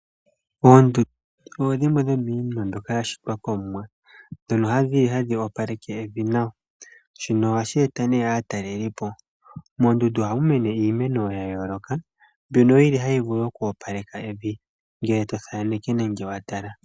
Oondundu odho dhimwe dhomiinima mbyoka yashitwa komuwa ndhono hadhi opaleke evi nawa. Shino ohashi eta aatalelipo. Mondundu ohamu mene iimeno ya yooloka mbyono yili hayi opaleke evi ngele tothaneke nege watala.